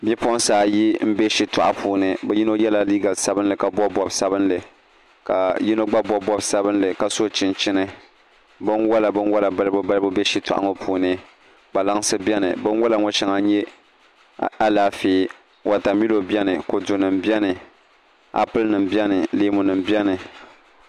Bipuɣunsi ayi n bɛ shitoɣu puuni bi yino yɛla liiga sabinli ka bob bob sabinli ka yino gba bob bob sabinli ka so chinchini binwola binwola balibu balibu bɛ shitoɣu ŋo puuni kpalaŋsi biɛni binwola ŋo shɛŋa n nyɛ Alaafee wotamilo biɛni leemu nim biɛni applɛ nim biɛni kodu nim biɛni